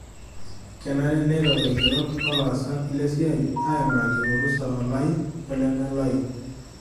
Kenare neiro laigerok olaasak lesiai aimaki orusa olaai olemelaai.